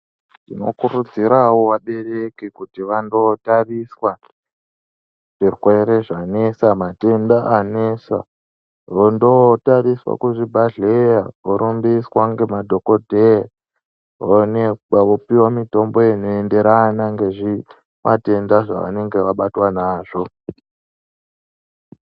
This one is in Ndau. Tinokurudzirawo vabereki kuti vandotariswa zvirwere zvanesa matenda anesa, vondotariswa kuzvibhadhleya vorumbiswa ngemadhokodheya voonekwa vopiwa mitombo inoenderana ngezvimatenda zvavanenge vabatwa nazvo.